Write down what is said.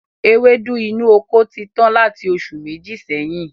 Ewédú inú oko ti tán láti oṣù Méjì sẹ́yìn